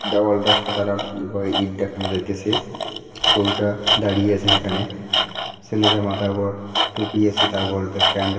দেওয়ালটা সাদা রং উভয়ে ইট দেখানো যাইতেসে গরুটা দাঁড়িয়ে আছেন এখানে ছেলেরা মাথার ওপর টুপি আছে তার উপরে প্যান্ --